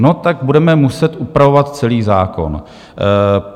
No tak budeme muset upravovat celý zákon.